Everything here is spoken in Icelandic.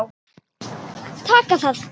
Taka það?